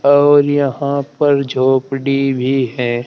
और यहां पर झोपड़ी भी है।